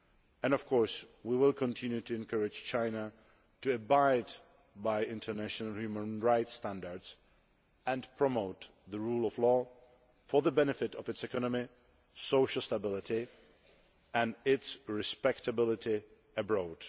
And, of course, we will continue to encourage China to abide by international human rights standards and promote the rule of law, for the benefit of its economy, social stability and its respectability abroad.